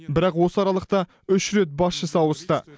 бірақ осы аралықта үш рет басшысы ауысты